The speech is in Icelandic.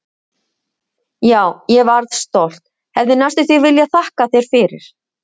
Já, ég varð stolt, hefði næstum því viljað þakka þér fyrir.